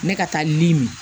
Ne ka taa libi